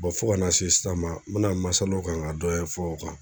fo ka na se sisan ma n bɛna masalaw kan ka dɔ ɲɛfɔ o kan.